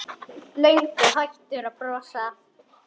Löngu hættur að brosa.